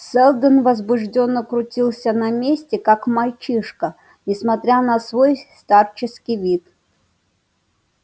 сэлдон возбуждённо крутился на месте как мальчишка несмотря на свой старческий вид